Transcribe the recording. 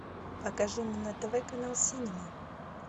покажи мне на тв канал синема